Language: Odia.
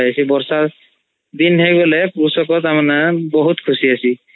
ବର୍ଷା ଦିନ ହଇଗଲେ କୃଷକ ନା ବହୁତ୍ ଖୁସି ଅସୀ